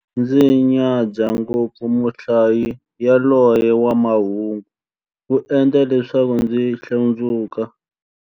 Ndzi nyadza ngopfu muhlayi yaloye wa mahungu, u endla leswaku ndzi hlundzuka.